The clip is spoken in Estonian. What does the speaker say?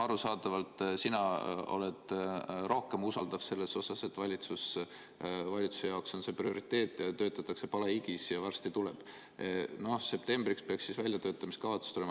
Arusaadavalt usaldad sina rohkem seda, et valitsuse jaoks on see prioriteet, töötatakse palehigis ja varsti see tuleb, et septembriks peaks siis väljatöötamiskavatsus valmis olema.